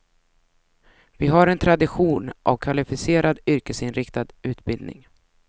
Vi har en tradition av kvalificerad yrkesinriktad utbildning.